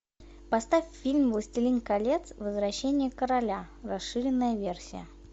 поставь фильм властелин колец возвращение короля расширенная версия